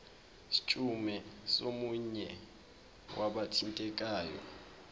scheme somunye wabathintekayo